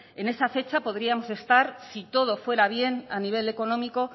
en esa fecha podríamos estar si todo fuera bien a nivel económico